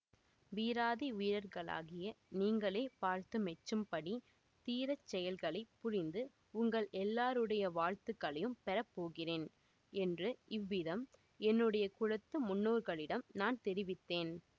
வீராதி வீரர்களாகிய நீங்களே பார்த்து மெச்சும்படி தீரச் செயல்களை புரிந்து உங்கள் எல்லாருடைய வாழ்த்துக்களையும் பெறப்போகிறேன் என்று இவ்விதம் என்னுடைய குலத்து முன்னோர்களிடம் நான் தெரிவித்தேன்